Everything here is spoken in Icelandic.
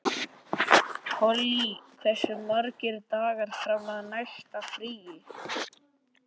Polly, hversu margir dagar fram að næsta fríi?